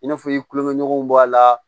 I n'a fɔ i ye tulokɛɲɔgɔnw bɔ a la